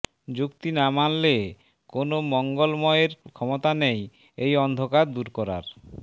যুক্তি না মানলে কোনও মঙ্গলময়ের ক্ষমতা নেই এই অন্ধকার দূর করার